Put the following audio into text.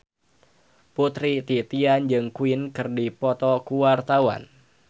Putri Titian jeung Queen keur dipoto ku wartawan